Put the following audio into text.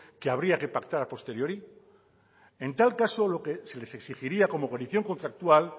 que habría que pactar a posteriori en tal caso lo que se les exigiría como coalición contractual